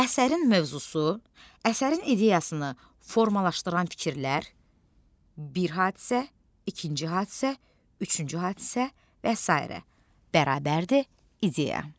Əsərin mövzusu, əsərin ideyasını formalaşdıran fikirlər, bir hadisə, ikinci hadisə, üçüncü hadisə və sairə bərabərdir ideya.